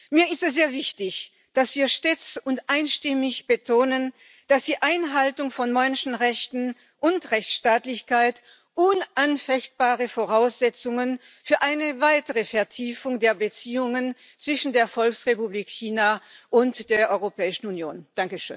Mir ist es sehr wichtig, dass wir stets und einstimmig betonen, dass die Einhaltung von Menschenrechten und Rechtsstaatlichkeit unanfechtbare Voraussetzungen für eine weitere Vertiefung der Beziehungen zwischen der Volksrepublik China und der Europäischen Union sind.